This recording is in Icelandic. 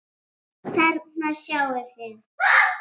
Þarna sjáið þið.